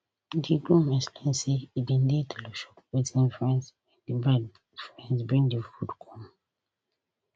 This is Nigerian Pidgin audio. di groom explain say e bin dey tailor shop wit him friends wen di bride friends bring di food come